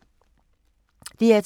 DR2